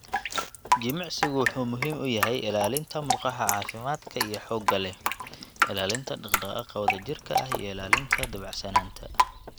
Jimicsigu wuxuu muhiim u yahay ilaalinta murqaha caafimaadka iyo xoogga leh, ilaalinta dhaqdhaqaaqa wadajirka ah, iyo ilaalinta dabacsanaanta.